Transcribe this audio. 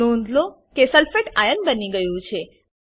નોંધ લો કે સલ્ફેટ આઇઓએન સલ્ફેટ આયન સો42 બની ગયું છે